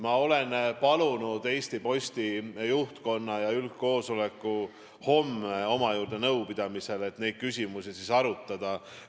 Ma olen palunud Eesti Posti juhtkonna ja üldkoosoleku homme oma juurde nõupidamisele, et neid küsimusi siis arutada.